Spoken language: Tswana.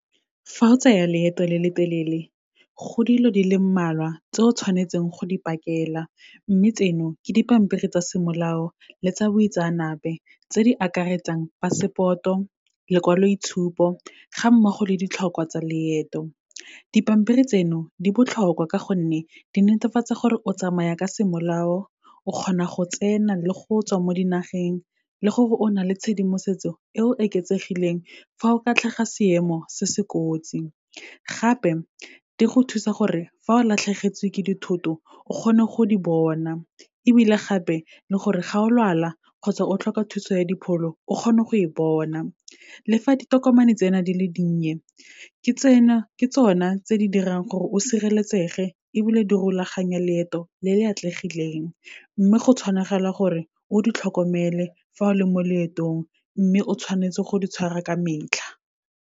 Fa o tsaya leeto le le telele, go dilo di le mmalwa tse o tshwanetseng go di pakela, mme tseno ke dipampiri tsa semolao le tsa boitseanape, tse di akaretsang passport-o, lekwaloitshupo ga mmogo le ditlhokwa tsa leeto. Dipampiri tseno, di botlhokwa ka gonne di netefatsa gore o tsamaya ka semolao, o kgona go tsena le go tswa mo dinageng, le gore o na le tshedimosetso e e oketsegileng fa o ka tlhaga seemo se se kotsi. Gape, di go thusa gore fa o latlhegetswe ke dithoto o kgone go di bona, ebile gape le gore ga o lwala kgotsa o tlhoka thuso ya dipholo, o kgone go e bona. Le fa ditokomane tsena di le dinnye ke tsona tse di dirang gore o sireletsege ebile di rulaganya leeto le le atlegileng, mme go tshwanagala gore, o di tlhokomele fa o le mo leetong mme o tshwanetse go di tshwara ka metlha.